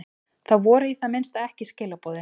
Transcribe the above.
Það voru í það minnsta ekki skilaboðin.